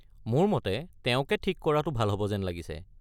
মোৰ মতে তেওঁকে ঠিক কৰাটো ভাল হ'ব যেন লাগিছে।